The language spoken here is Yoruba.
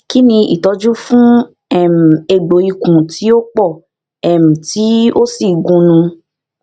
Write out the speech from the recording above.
kini itọju fun um egbo ikun ti o pọ um ti o si gunun